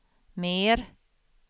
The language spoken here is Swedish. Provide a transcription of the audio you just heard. mer